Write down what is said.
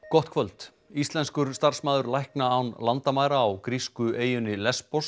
gott kvöld íslenskur starfsmaður lækna án landamæra á grísku eyjunni